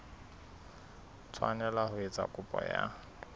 tshwanela ho etsa kopo ya